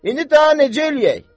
İndi daha necə eləyək?